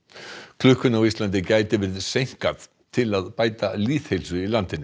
klukkunni á Íslandi gæti verið seinkað til að bæta lýðheilsu í landinu